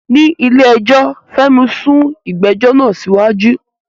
Ní ilé ẹjọ́, Fẹ́mi sún ìgbẹ́jọ́ náà síwájú.